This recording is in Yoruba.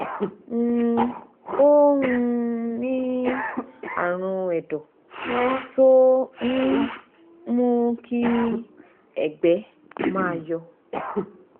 um ó um ní àrùn ẹ̀dọ́ tó um ń mú kí ẹ̀gbẹ́ máa yọ̀